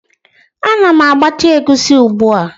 Ana m agbacha egusi ugbu a